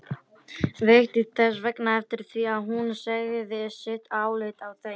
Vigdís þess vegna eftir því að hún segði sitt álit á þeim.